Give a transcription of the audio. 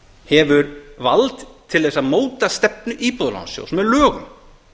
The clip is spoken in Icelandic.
hefur vald til þess að móta stefnu íbúðalánasjóðs með lögum